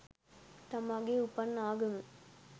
තමාගේ උපන් ආගම